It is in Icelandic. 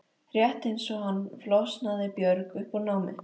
Rétt eins og hann flosnaði Björg upp úr námi.